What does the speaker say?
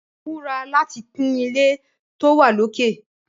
Múra láti kun ilé tó wà lókè!